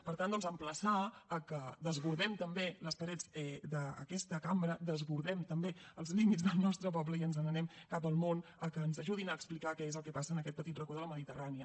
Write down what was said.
per tant doncs emplaçar a que desbordem també les parets d’aquesta cambra desbordem també els límits del nostre poble i ens n’anem cap al món a que ens ajudin a explicar què és el que passa en aquest petit racó de la mediterrània